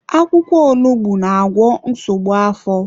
Akwụkwọ onugbu na-agwọ nsogbu afọ.